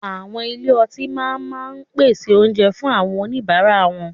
Àwọn ilé ọtí náà máa ma pèsè oúnjẹ fún àwọn oníbàárà wọn.